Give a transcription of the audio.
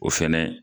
O fɛnɛ